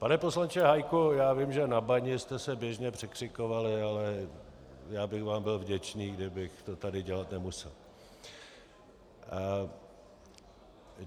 Pane poslanče Hájku, já vím, že na bani jste se běžně překřikovali, ale já bych vám byl vděčný, kdybych to tady dělat nemusel.